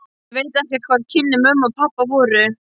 Ég veit ekkert hver kynni mömmu og pabba voru.